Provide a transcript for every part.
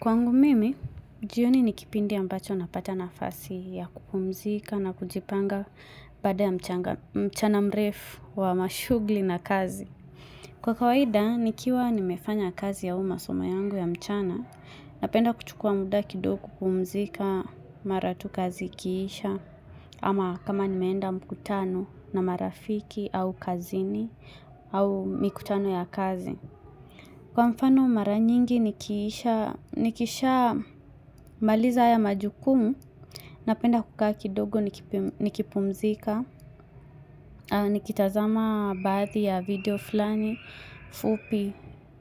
Kwangu mimi, jioni ni kipindi ambacho napata nafasi ya kupumzika na kujipanga baada ya mchana mrefu wa mashugli na kazi. Kwa kawaida, nikiwa nimefanya kazi au masoma yangu ya mchana, napenda kuchukuwa muda kido kupumzika mara tu kazi ikiisha, ama kama nimeenda mkutano na marafiki au kazini au mikutano ya kazi. Kwa mfano mara nyingi nikisha maliza haya majukumu, napenda kukaa kidogo nikipumzika, nikitazama baadhi ya video flani, fupi,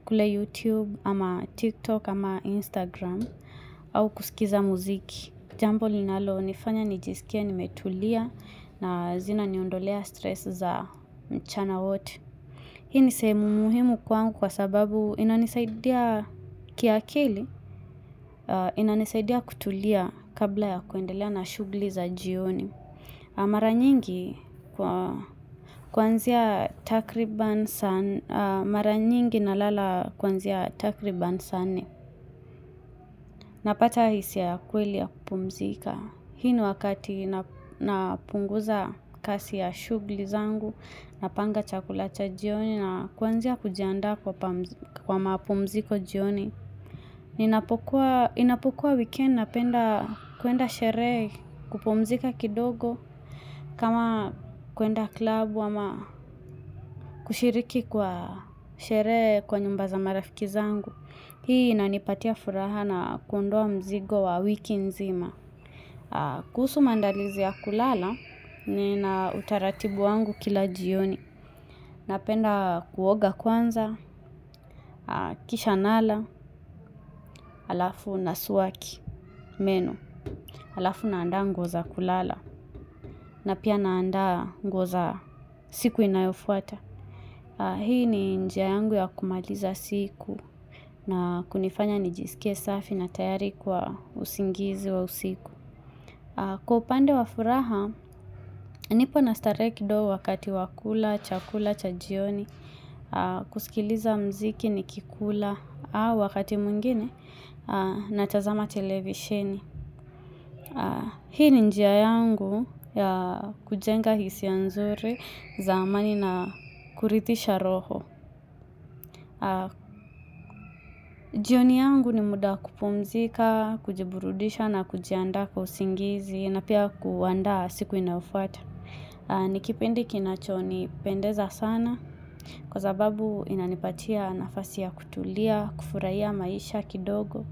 kule YouTube, ama TikTok, ama Instagram, au kusikiza muziki. Jambo linalo nifanya nijisikie nimetulia na zinaniondolea stress za mchana wote. Hii ni sehemu muhimu kwaangu kwa sababu inanisaidia kiakili, inanisaidia kutulia kabla ya kuendelea na shugli za jioni. Mara nyingi kwa kuanzia takriban saa, mara nyingi na lala kwanzia takriban sana nne. Napata hisia ya kweli ya kupumzika. Hii ni wakati napunguza kasi ya shugli zangu, napanga chakulacha jioni na kuanzia kujianda kwa mapumziko jioni. Inapokuwa weekend napenda kwenda sherehe kupumzika kidogo kama kwenda klabu ama kushiriki kwa sherehe kwa nyumba za marafiki zangu. Hii inanipatia furaha na kuondoa mzigo wa wiki nzima. Kuhusu maandalizi ya kulala nina utaratibu wangu kila jioni. Napenda kuoga kwanza, kisha nala, alafu nasuwaki, meno. Alafu naanda nguo za kulala na pia naanda nguo za siku inayofuata. Hii ni njia yangu ya kumaliza siku na kunifanya nijisikie safi na tayari kwa usingizi wa usiku. Kwa upande wa furaha, nipo na starehe kidogo wakati wa kula, chakula, cha jioni, kusikiliza mziki nikikula, wakati mwengine natazama televisheni. Hii ni njia yangu ya kujenga hisia nzuri za amani na kurithisha roho. Jioni yangu ni muda kupumzika, kujiburudisha na kujianda kwa usingizi na pia kuandaa siku inayofata Nikipindi kinacho nipendeza sana kwa sababu inanipatia nafasi ya kutulia, kufurahia maisha kidogo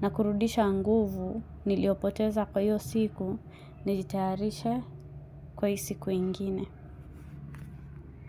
na kurudisha nguvu niliopoteza kwa hiyo siku nijitaharisha kwa hiyo siku ingine.